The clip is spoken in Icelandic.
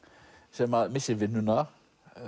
sem missir vinnuna